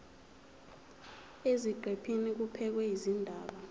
eziqephini kubhekwe izindaba